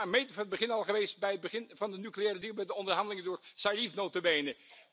Dat is vanaf het begin al zo geweest, vanaf het begin van de nucleaire deal met de onderhandelingen door Zarif nota bene.